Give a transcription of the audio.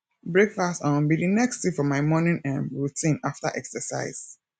breakfast um be the next thing for my morning um routine after exercise